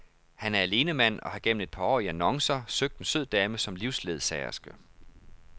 Han er alenemand og har gennem et par år i annoncer søgt en sød dame som livsledsagerske.